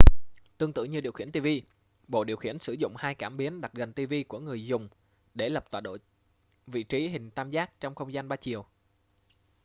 tương tự như điều khiển ti vi bộ điều khiển sử dụng hai cảm biến đặt gần ti vi của người dùng để lập tọa độ vị trí hình tam giác trong không gian ba chiều